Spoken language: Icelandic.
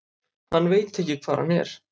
Hann veit ekki hvar hann er.